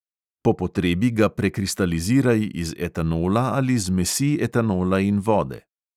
Po potrebi ga prekristaliziraj iz etanola ali zmesi etanola in vode.